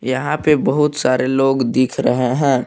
यहां पे बहुत सारे लोग दिख रहे हैं।